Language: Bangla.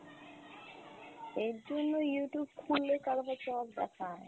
এরজন্যই Youtube খুললে কারবা চৌত দেখায়।